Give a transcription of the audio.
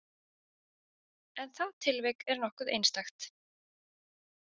, en það tilvik er nokkuð einstakt.